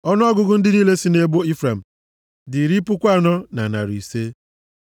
Ọnụọgụgụ ndị niile sị nʼebo Ifrem dị iri puku anọ na narị ise (40,500).